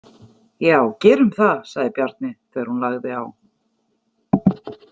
Já, gerum það, sagði Bjarni þegar hún lagði á.